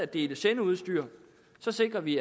dele sendeudstyr sikrer vi